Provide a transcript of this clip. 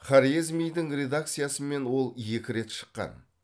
хорезмидің редакциясымен ол екі рет шыққан